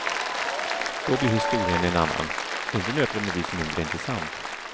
Då blir historien en annan, inte nödvändigtvis mindre intressant.